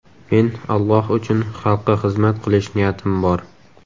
Men Alloh uchun xalqqa xizmat qilish niyatim bor.